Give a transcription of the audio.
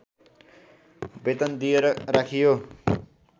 वेतन दिएर राखियो